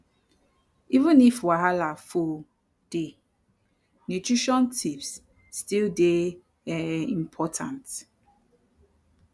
even if wahala full day nutrition tips still dey um important